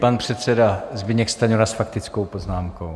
Pan předseda Zbyněk Stanjura s faktickou poznámkou.